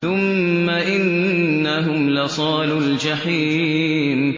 ثُمَّ إِنَّهُمْ لَصَالُو الْجَحِيمِ